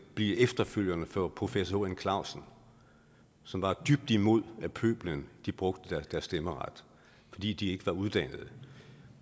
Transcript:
blive efterfølgerne for professor h n clausen som var dybt imod at pøblen brugte deres stemmeret fordi de ikke var uddannede